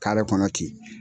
kɔnɔ ten.